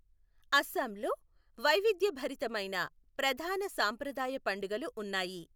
అస్సాంలో వైవిధ్యభరితమైన ప్రధాన సాంప్రదాయ పండుగలు ఉన్నాయి.